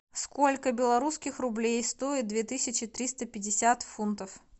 сколько белорусских рублей стоит две тысячи триста пятьдесят фунтов